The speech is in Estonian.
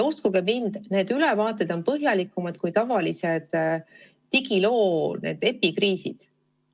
Uskuge mind, need ülevaated on põhjalikumad kui tavalised digiloo epikriisid.